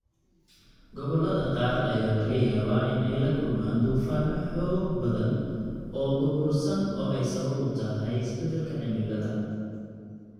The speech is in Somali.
Gobollada qaar ayaa laga yaabaa in ay la kulmaan duufaano xoog badan oo burbursan oo ay sabab u tahay isbeddelka cimilada.